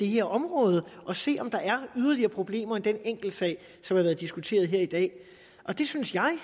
her område og se om der var yderligere problemer ud over den enkeltsag som har været diskuteret her i dag det synes jeg